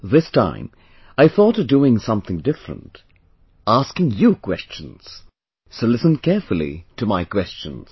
This time I thought of doing something different, asking you questions, so listen carefully to my questions